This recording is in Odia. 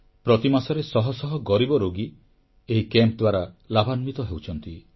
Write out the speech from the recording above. ପ୍ରତିମାସରେ ଶହ ଶହ ଗରିବ ରୋଗୀ ଏହି କ୍ୟାମ୍ପ ଦ୍ୱାରା ଲାଭାନ୍ୱିତ ହେଉଛନ୍ତି